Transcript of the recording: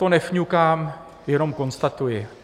To nefňukám, jenom konstatuji.